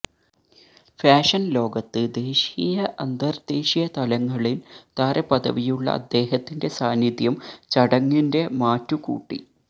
ഫാഷന് ലോകത്ത് ദേശീയ അന്തര്ദേശീയ തലങ്ങളില് താരപദവിയുള്ള അദ്ദേഹത്തിന്റെ സാന്നിധ്യം ചടങ്ങിന്റെ മാറ്റു കൂട്ടി